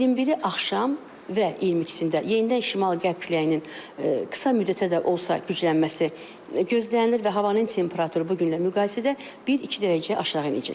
21-i axşam və 22-sində yenidən şimal-qərb küləyinin qısa müddətə də olsa güclənməsi gözlənilir və havanın temperaturu bu günlə müqayisədə bir-iki dərəcə aşağı enəcək.